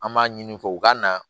An b'a ɲini fɔ u ka na